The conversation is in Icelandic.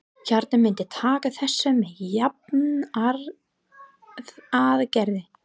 Kjartan myndi taka þessu með jafnaðargeði.